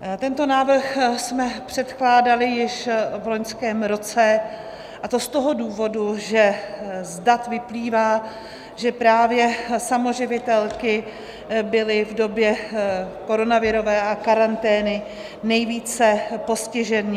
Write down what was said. Tento návrh jsme předkládali již v loňském roce, a to z toho důvodu, že z dat vyplývá, že právě samoživitelky byly v době koronavirové a karantény nejvíce postiženy.